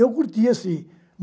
Eu curtia sim